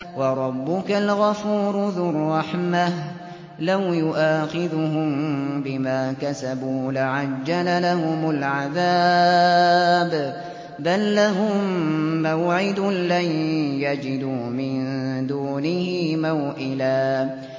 وَرَبُّكَ الْغَفُورُ ذُو الرَّحْمَةِ ۖ لَوْ يُؤَاخِذُهُم بِمَا كَسَبُوا لَعَجَّلَ لَهُمُ الْعَذَابَ ۚ بَل لَّهُم مَّوْعِدٌ لَّن يَجِدُوا مِن دُونِهِ مَوْئِلًا